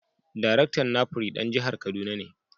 Daraktan NAPRI dan jihar Kaduna ne.